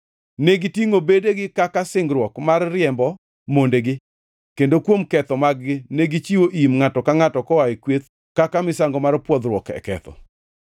Negitingʼo bedegi kaka singruok mar riembo mondegi, kendo kuom ketho mag-gi negichiwo im ngʼato ka ngʼato koa e kweth kaka misango mar pwodhruok e ketho.